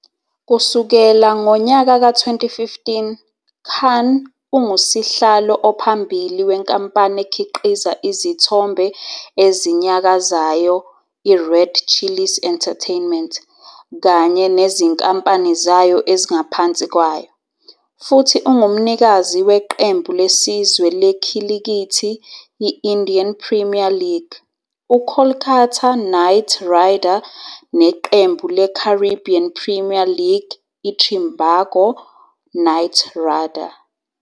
Kusukela ngonyaka ka-2015, Khan ungusihlalo ophambili wenkampani ekhiqiza izithombe ezinyakazayo iRed Chillies Entertainment kanye nezinkampani zayo ezingaphansi kwayo, futhi ungumnikazi weqembu lesizwe lekhilikithi i-Indian Premier League uKolkata Knight Rider neqembu leCaribbean Premier League iTrinbago Knight Rider.